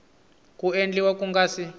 ku endliwa ku nga si